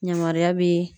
Yamaruya bi